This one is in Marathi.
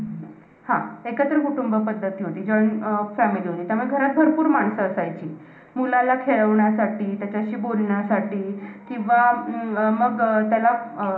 पुरस्थितीत हृदय हे आहार रस विक्षेपनाच्या दृष्टीने अतिशय महत्त्वपूर्ण अवयव असल्याने हृदयाला आहार रसाचे प्रमुख स्थान म्हटलेले आहे.